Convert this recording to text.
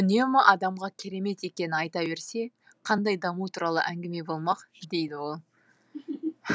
үнемі адамға керемет екенін айта берсе қандай даму туралы әңгіме болмақ дейді ол